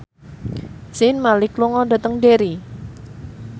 Zayn Malik lunga dhateng Derry